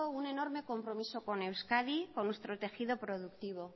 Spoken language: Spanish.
un enorme compromiso con euskadi con nuestro tejido productivo